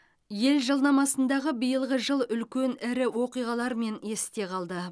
ел жылнамасындағы биылғы жыл үлкен ірі оқиғалармен есте қалды